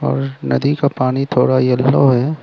और नदी का पानी थोड़ा येलो है।